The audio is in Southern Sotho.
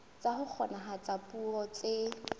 tsa ho kgonahatsa puo tse